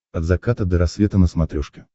от заката до рассвета на смотрешке